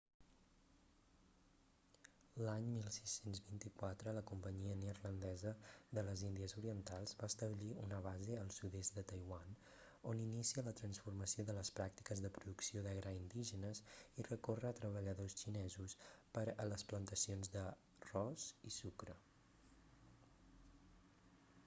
l'any 1624 la companyia neerlandesa de les índies orientals va establir una base al sud-est de taiwan on inicia la transformació de les pràctiques de producció de gra indígenes i recorre a treballadors xinesos per a les plantacions d'arròs i sucre